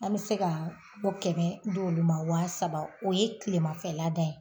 An bɛ se ka kɛmɛ d'olu ma waa saba o ye tilemanfɛla ta ye.